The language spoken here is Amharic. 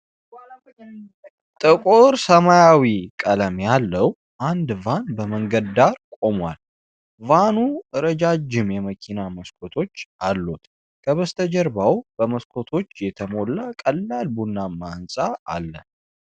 ጥቁር ሰማያዊ ቀለም ያለው አንድ ቫን በመንገድ ዳር ቆሟል፡፡ ቫኑ ረጃጅም የመኪና መስኮቶች አሉት፡፡ ከበስተጀርባው በመስኮቶች የተሞላ ቀላል ቡናማ ህንፃ አለ፡፡